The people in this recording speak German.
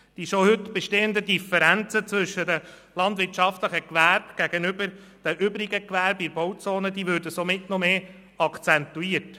Die schon heute bestehenden Differenzen zwischen dem landwirtschaftlichen und den übrigen Gewerben in Bauzonen würden somit noch stärker akzentuiert.